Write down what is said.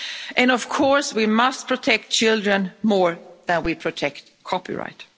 And of course we must protect children more than we protect copyright.